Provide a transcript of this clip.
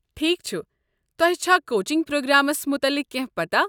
ٹھیكھ چھُ، تۄہہِ چھا کوچنٛگ پرٛوگرٛامس مٗتعلق کٮ۪نٛہہ پتاہ؟